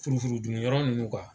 Furufuru dunyɔrɔ nunnu kuwa